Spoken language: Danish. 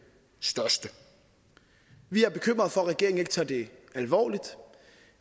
største vi er bekymrede for at regeringen ikke tager det alvorligt